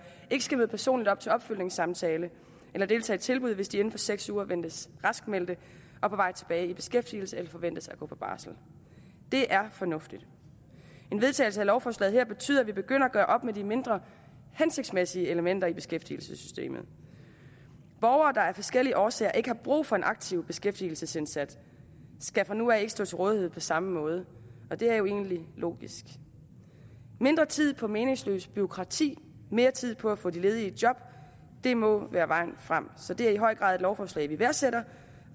ikke skal møde personligt op til opfølgningssamtale eller deltage i tilbud hvis de inden for seks uger ventes raskmeldte og på vej tilbage i beskæftigelse eller forventes at gå på barsel det er fornuftigt en vedtagelse af lovforslaget her betyder at vi begynder at gøre op med de mindre hensigtsmæssige elementer i beskæftigelsessystemet borgere der af forskellige årsager ikke har brug for en aktiv beskæftigelsesindsats skal fra nu af ikke stå til rådighed på samme måde og det er jo egentlig logisk mindre tid på meningsløs bureaukrati mere tid på at få de ledige i job det må være vejen frem så det er i høj grad et lovforslag vi værdsætter